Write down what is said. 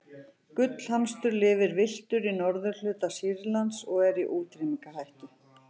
gullhamstur lifir villtur í norðurhluta sýrlands og er í útrýmingarhættu